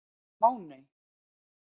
Máney